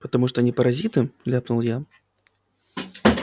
потому что они паразиты ляпнул я